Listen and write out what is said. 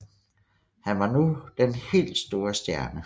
Han var nu den helt store stjerne